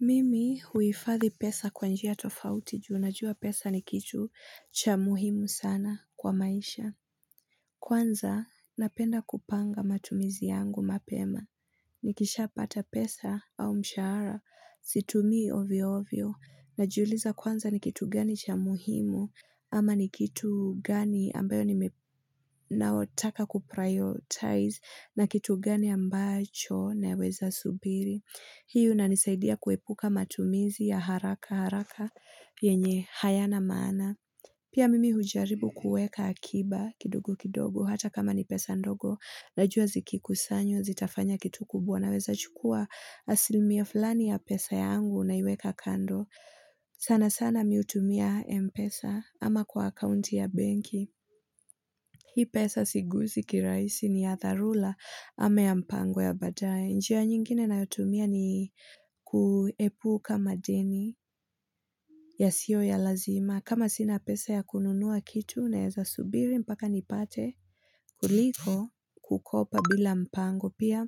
Mimi huifadhi pesa kwa njia tofauti juu najua pesa ni kitu cha muhimu sana kwa maisha. Kwanza napenda kupanga matumizi yangu mapema. Nikishaapata pesa au mshahara, situmii ovyo ovyo na jiuliza kwanza ni kitu gani cha muhimu ama ni kitu gani ambayo ni naotaka kuprioritize na kitu gani ambacho na weza subiri. Hii una nisaidia kuepuka matumizi ya haraka haraka yenye haya na maana. Pia mimi hujaribu kuweka akiba kidogo kidogo hata kama ni pesa ndogo na jua zikikusanywa zitafanya kitu kubwa na weza chukua asilmia fulani ya pesa yangu na iweka kando. Sana sana miutumia mpesa ama kwa akaunti ya benki Hii pesa sigusi kiraisi ni ya tharula ama ya mpango ya badae njia nyingine nina yotumia ni kuepu kama deni ya sio ya lazima kama sina pesa ya kununua kitu na eza subiri mpaka nipate kuliko kukopa bila mpango pia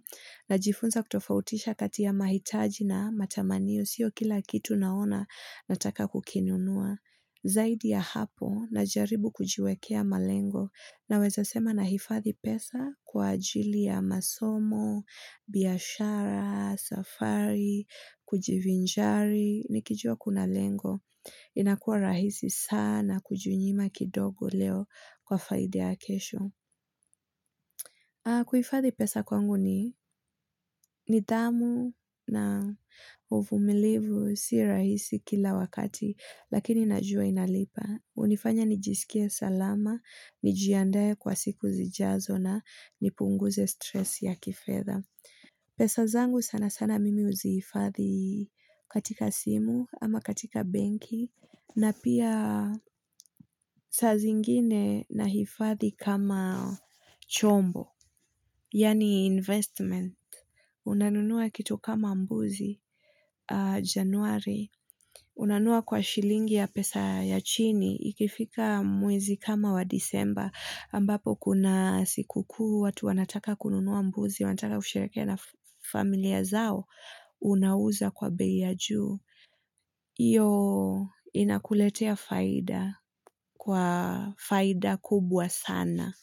Najifunza kutofautisha kati ya mahitaji na matamanio sio kila kitu naona nataka kukinunua zaidi ya hapo na jaribu kujiwekea malengo na weza sema na hifadhi pesa kwa ajili ya masomo, biashara, safari, kujivinjari, nikijua kuna lengo. Inakuwa rahisi sana kujinyima kidogo leo kwa faida ya kesho. Kuhifadhi pesa kwangu ni ni dhamu na uvumilivu si rahisi kila wakati lakini najua inalipa. Unifanya nijisikie salama, nijiandae kwa siku zijazo na nipunguze stress ya kifedha. Pesa zangu sana sana mimi uzifathi katika simu ama katika benki na pia saa zingine na hifathi kama chombo. Yaani investment. Unanunua kitu kama mbuzi januari. Unanunua kwa shilingi ya pesa ya chini. Ikifika mwezi kama wa disemba. Ambapo kuna siku kuu watu wanataka kununua mbuzi wanataka kusherehekea na familia zao. Unauza kwa bei ya juu. Iyo inakuletea faida. Kwa faida kubwa sana.